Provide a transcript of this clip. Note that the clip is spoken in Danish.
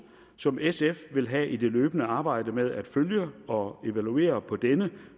som sf vil have i det løbende arbejde med at følge og evaluere på denne